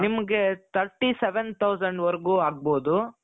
ನಿಮ್ಗೆ thirty seven thousand ವರೆಗೂ ಆಗ್ಬಹುದು .